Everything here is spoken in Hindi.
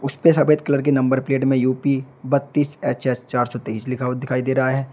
इसपे सफेद कलर के नंबर प्लेट मे यू_पी बत्तीस एच एस चार सौ तेईस लिखा हुआ दिखाई दे रहा है।